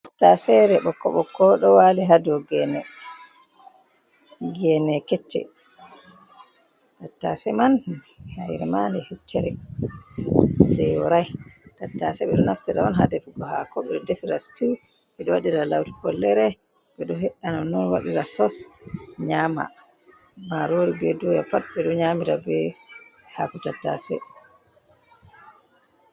Tattaaseere ɓokko-ɓokko ɗo waali ha dow geene, geene kecce. Tattaase man hayre maa nde heccere, nde yooray. Tattaase ɓe ɗo naftire on ha defugo haako. Ɓe ɗo defira "situu" ɓe ɗo waɗira laawri follere, ɓe heyya nonnon nyaama. Maaloori bee dooya pat ɓe ɗo nyaamira bee haako tattaase.